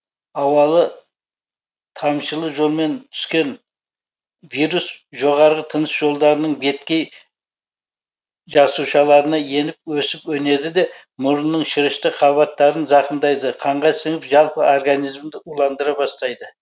ауалы тамшылы жолмен түскен вирус жоғарғы тыныс жолдарының беткей жасушаларына еніп өсіп өнеді де мұрынның шырышты қабаттарын зақымдайды қанға сіңіп жалпы организмді уландыра бастайды